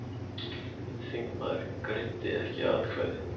Einn þingmaður greiddi ekki atkvæði